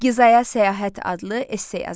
Gizaya səyahət adlı esse yazın.